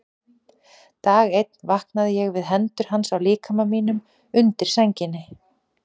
Dag einn vaknaði ég við hendur hans á líkama mínum undir sænginni.